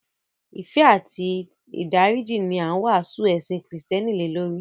Ìfẹ́ àti ìdáríjì ní a ń wásù ẹ̀sìn Kristián lèlórí.